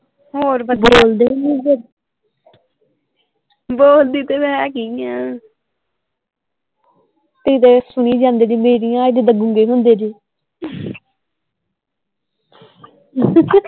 ਹੋਰ ਦਸੋ